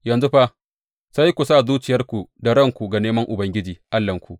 Yanzu fa sai ku sa zuciyarku da ranku ga neman Ubangiji Allahnku.